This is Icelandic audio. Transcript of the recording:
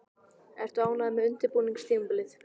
Ertu ánægður með undirbúningstímabilið?